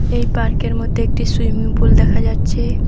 এই পার্কের মধ্যে একটা সুইমিং পুল দেখা যাচ্ছে।